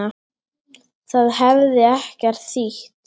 Það hefði ekkert þýtt.